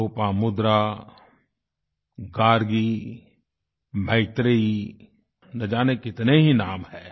लोपामुद्रा गार्गी मैत्रेयी न जाने कितने ही नाम हैं